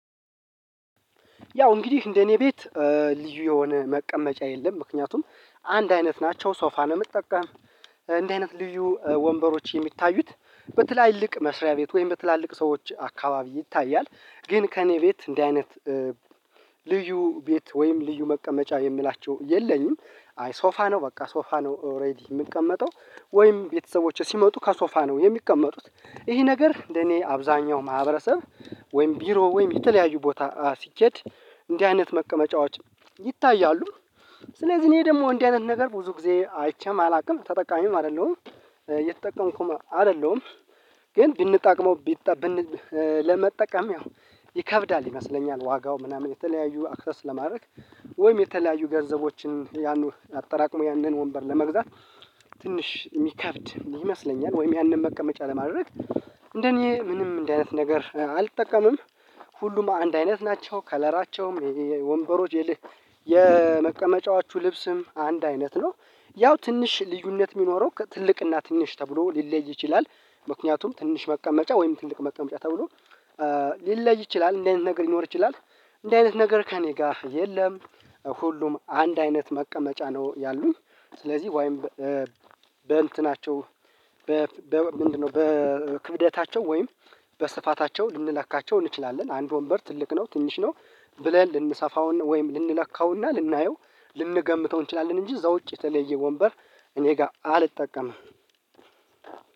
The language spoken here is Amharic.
ያው እንግዲህ እንደኔ ቤት ልዩ የሆነ መቀመጫ የለም ምክንያቱም አንድ አይነት ናቸው ሶፋ ነው። ምጠቀም እንዲህ አይነት ልዩ ወንበሮች የሚታዩት በትላልቅ መስሪያ ቤት ወይም በትላልቅ ሰዎች አካባቢ ይታያል። ግን ከእኔ ቤት እንዲህ አይነት ልዩ ቤት ወይም ልዩ መቀመጫ የምላቸው የለኝም። አይ ሶፋ ነው በቃ ሶፋ ነው ኦሬዲ የምቀመጠው ወይም ቤተሰቦቼ ሲመጡ ከሶፋ ነው የሚቀመጡት ይሄ ነገር እንደኔ አብዛኛው ማህበረሰብ ወይም ቢሮ ወይም የተለያዩ ቦታ ሲኬድ እንዲህ አይነት መቀመጫዎች ይታያሉ። ስለዚህ እኔ ደግሞ እንዲህ አይነት ነገር ብዙ ጊዜ አይቼም አላቅም ተጠቃሚም አይደለሁም እየተጠቀምኩም አይደለሁም። ግን ብንጠቅመው ቢጠ ብን ብን ለመጠቀም ያው ይከብዳል ይመስለኛል ዋጋው ምናምን የተለያዩ አክሰስ ለማድረግ ወይም የተለያዩ ገንዘቦችን ያኑ አጠራቅሞ ያንን ወንበር ለመግዛት ትንሽ የሚከብድ ይመስለኛል። ወይም ያንን መቀመጫ ለማድረግ እንደኔ ምንም እንዲህ አይነት ነገር አልጠቀምም። ሁሉም አንድ አይነት ናቸው ከለራቸውም የወንበሮች የመቀመጫዎቹ ልብስም አንድ አይነት ነው። ያው ትንሽ ልዩነት የሚኖረው ከትልቅና ትንሽ ተብሎ ሊለይ ይችላል። ምክንያቱም ትንሽ መቀመጫ ወይም ትልቅ መቀመጫ ተብሎ ሊለይ ይችላል እንዲህ አይነት ነገር ሊኖር ይችላል። እንደዚህ አይነት ነገር ከእኔ ጋር የለም። ሁሉም አንድ አይነት መቀመጫ ነው ያሉኝ። ስለዚህ ወይም በእንትናቸው በ ምንድነው በክብደታቸው ወይም በስፋታቸው ልንለካቸው እንችላለን አንድ ወንበር ትልቅ ነው ትንሽ ነው ብለን ልንሰፋውና ወይም ልንለካውና ልናየው ልንገምተው እንችላለን። እንጂ እዛ ውጪ የተለየ ወንበር እኔ ጋ አልጠቀምም።